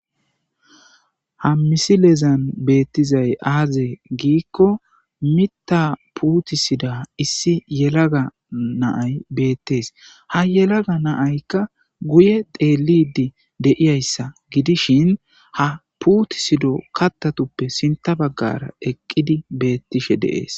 ha misilezan beettizay aaze giikko mitta puutisida issi yelaga naay beettees ha yelaga naaykka guye deelidi deiyayssa gidishin ha puutisido kattatuppe sinta baggara eqqidi beettishe deees